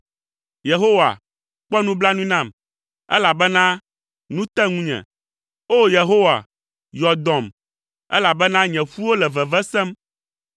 Yehowa, kpɔ nublanui nam, elabena nu te ŋunye. O! Yehowa, yɔ dɔm, elabena nye ƒuwo le veve sem.